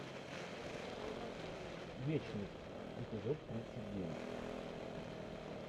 вечность эпизод тридцать девять